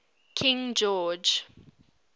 king george